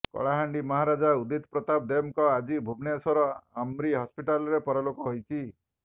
କଳାହାଣ୍ଡି ମହାରାଜା ଉଦିତ ପ୍ରତାପ ଦେବଙ୍କର ଆଜି ଭୁବନେଶ୍ୱର ଆମ୍ରି ହସ୍ପିଟାଲରେ ପରଲୋକ ହୋଇଛି